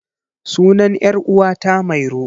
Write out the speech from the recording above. Sunan 'yar uwata mairo.